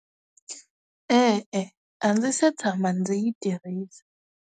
E-e, a ndzi si tshama ndzi yi tirhisa.